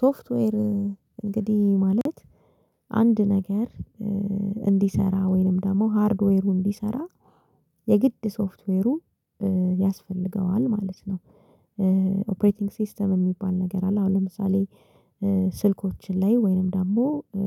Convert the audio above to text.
ሶፍትዌር እንግዲ ማለት አንድ ነገር እንዲሰራ ወይንም ደሞ ሃርድዌሩ እንዲሰራ የግድ ሶፍትዌሩ ያስፈልገዋል ማለት ነው። ኦፕሬቲንግ ሲስተም ሚባል ነገር አለ አሁን ለምሳሌ ስልኮችን ላይ ወይንም ደሞ